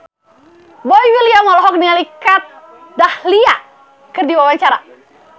Boy William olohok ningali Kat Dahlia keur diwawancara